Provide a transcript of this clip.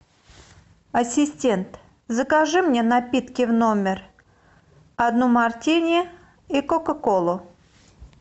ассистент закажи мне напитки в номер одно мартини и кока колу